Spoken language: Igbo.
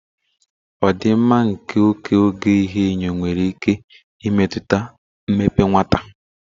Ọdịmma nke oke oge ihuenyo nwere ike imetụta mmepe nwata.